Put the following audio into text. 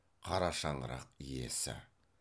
қара шаңырақ иесі